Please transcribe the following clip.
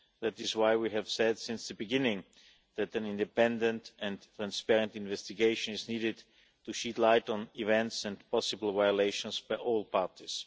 That is why we have said since the beginning that an independent and transparent investigation is needed to shed light on events and possible violations by all parties.